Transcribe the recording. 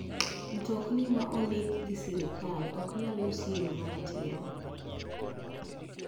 Mtokni ma ok ondiki gi sirkal ok nyal usi e yo maratiro.